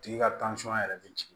Tigi ka yɛrɛ bɛ jigin